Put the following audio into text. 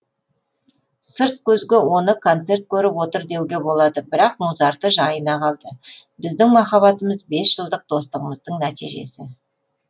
сырт көзге оны концерт көріп отыр деуге болады бірақ музарты жайына қалды біздің махаббатымыз бес жылдық достығымыздың нәтижесі